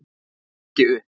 Ég lít ekki upp.